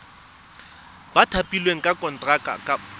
ba thapilweng ka konteraka ba